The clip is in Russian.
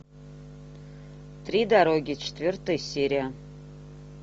три дороги четвертая серия